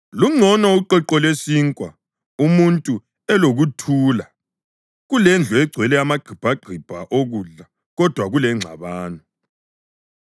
Lungcono uqweqwe lwesinkwa umuntu elokuthula kulendlu egcwele amagqibhagqibha okudla kodwa kulengxabano.